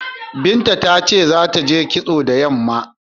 Binta ta ce za ta je kitso da yamma.